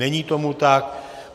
Není tomu tak.